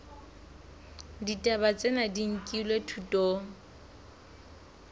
ditaba tsena di nkilwe thutong